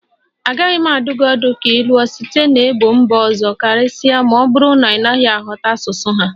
Agaghị m adụ gị ọdụ ka ị lụọ site n'ebo mba ọzọ karịsịa ma ọ bụrụ na ị ghọtaghị asụsụ ha